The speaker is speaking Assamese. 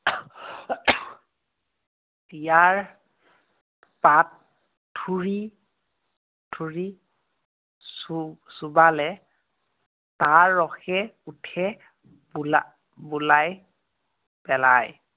ইয়াৰ পাত, ঠুৰী, ঠুৰী চো~ চোবালে, তাৰ ৰসে উঠে বো~ বোলাই পেলায়।